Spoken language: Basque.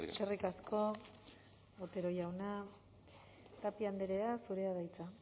eskerrik asko eskerrik asko otero jauna tapia andrea zurea da hitza